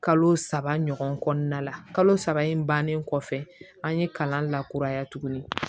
Kalo saba ɲɔgɔn kɔnɔna la kalo saba in bannen kɔfɛ an ye kalan lakuraya tuguni